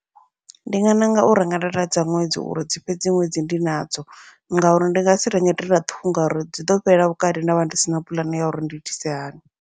Ndi nga ṋanga u renga data dza ṅwedzi uri dzi fhedzi ṅwedzi ndi nadzo, ngauri ndi ngasi renge ṱhukhu ngauri dzi ḓo fhelela vhukati, ndavha ndi sina puḽane ya uri ndi itise hani.